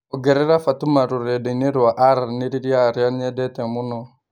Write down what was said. ongerera Fatuma rũrenda-inĩ rwa aranĩrĩrĩa arĩa nyendete mũno